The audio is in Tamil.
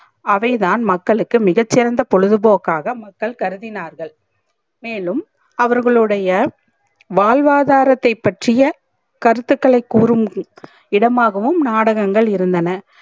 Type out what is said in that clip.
அவைதான் மக்களுக்கு மிக சிறந்த பொழுதுபோக்காக மக்கள் கருதினார்கள் மேலும் அவர்களுடைய வாழ்வாதாரத்தை பற்றிய கருத்துகளை கூறும் இடமாகவும் நாடகங்கள் இருந்தன